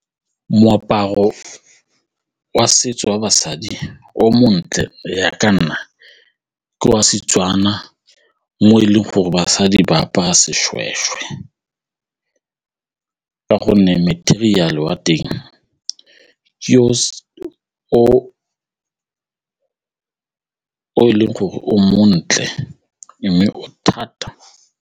Moaparo wa setso wa basadi o montle go ya ka nna ke wa Setswana mo e leng gore basadi ba apara seshweshwe ka gonne material-e wa teng ke yo o e leng gore o montle mme o thata.